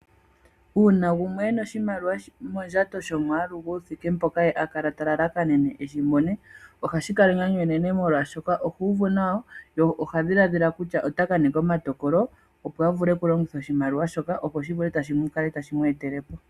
Uuna gumwe ena oshimaliwa mondjato shomwaalu guuthike mpoka ye ali talalakanene eshimone ohashi kala enyanyu enene, molwashoka ohuuvu nawa ye ohadhiladhila kutya otakaninga omatokolo opo avule okulongitha oshimaliwa shoka opo shikale tashi mwetelepo.